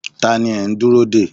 Ta ni ẹ ń dúró dè?